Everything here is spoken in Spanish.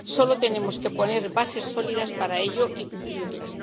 Solo tenemos que poner bases sólidas para ello y cumplirlas.